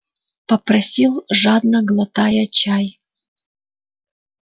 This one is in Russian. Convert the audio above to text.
попросил жадно глотая чай